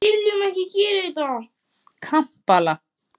Kampala